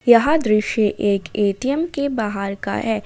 यह दृश्य एक ए_टी_म के बाहर का है।